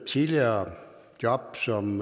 tidligere job som